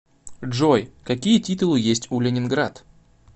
джой какие титулы есть у ленинград